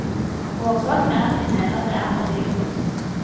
Årsaken er at vi mener det er for dyrt.